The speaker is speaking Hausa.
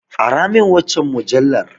Aramin waccan mujallar.